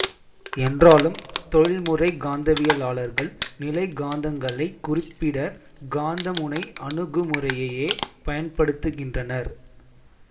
என்றாலும் தொழில்முறைக் காந்தவியலாளர்கள் நிலைக்காந்தங்களைக் குறிப்பிட காந்தமுனை அணுகுமுறையையே பயன்படுத்துகின்றனர்